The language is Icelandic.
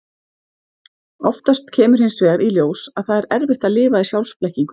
Oftast kemur hins vegar í ljós að það er erfitt að lifa í sjálfsblekkingu.